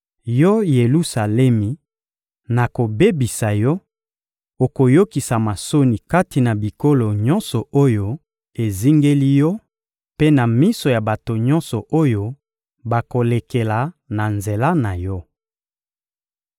Yo Yelusalemi, nakobebisa yo, okoyokisama soni kati na bikolo nyonso oyo ezingeli yo mpe na miso ya bato nyonso oyo bakolekela na nzela na yo.